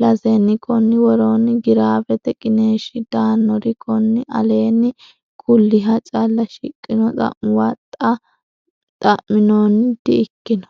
lasenni Konni woroonni giraafete qiniishshi daannori konni aleenni kulliha calla shiqqino xamuwa xa minoonni di ikkino.